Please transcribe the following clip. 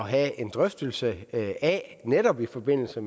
have en drøftelse af netop i forbindelse